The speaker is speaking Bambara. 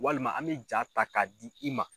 Walima an bɛ jaa ta k'a di i ma.